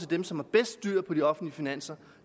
dem som har bedst styr på de offentlige finanser